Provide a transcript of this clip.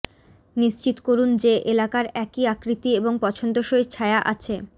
নিশ্চিত করুন যে এলাকার একই আকৃতি এবং পছন্দসই ছায়া আছে